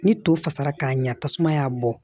Ni to fasara k'a ɲa tasuma y'a bɔ